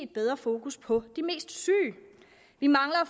bedre fokus på de mest syge vi mangler at